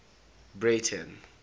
breyten